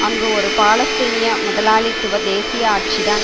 அங்கு ஒரு பாலஸ்தீன முதலாளித்துவ தேசிய ஆட்சிதான்